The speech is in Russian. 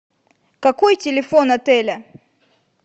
какой телефон отеля